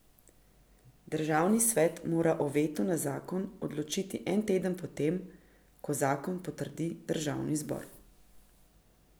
Državni svet mora o vetu na zakon odločiti en teden po tem, ko zakon potrdi državni zbor.